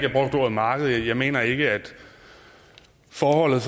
marked jeg mener ikke at forholdet